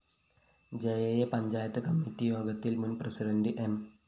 ജയയെ panchayat committee യോഗത്തില്‍ മുന്‍ president M